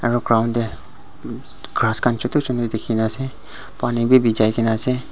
aro ground te grass khan chotu chotu dikhi na ase pani bi biji kena ase.